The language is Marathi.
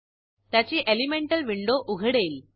त्याची एलिमेंटल विंडो उघडेल